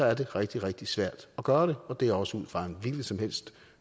er det rigtig rigtig svært at gøre det og det er også ud fra en hvilken som helst